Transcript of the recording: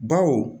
Baw